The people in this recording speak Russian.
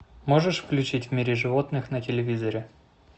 можешь включить в мире животных на телевизоре